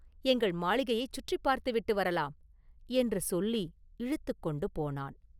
எங்கள் மாளிகையைச் சுற்றிப் பார்த்துவிட்டு வரலாம்!” என்று சொல்லி இழுத்துக் கொண்டு போனான்.